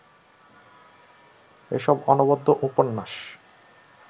এসব অনবদ্য উপন্যাস